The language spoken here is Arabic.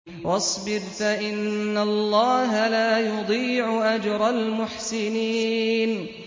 وَاصْبِرْ فَإِنَّ اللَّهَ لَا يُضِيعُ أَجْرَ الْمُحْسِنِينَ